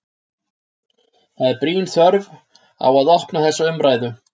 Það er brýn þörf á að opna þessa umræðu.